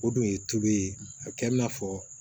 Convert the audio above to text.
O dun ye tulu ye a bɛ kɛ i n'a fɔ